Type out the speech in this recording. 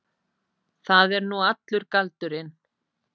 Það er nú allur galdurinn.